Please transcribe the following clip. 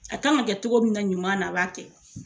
A kan ka kɛ cogo min na ɲuman na a b'a kɛ.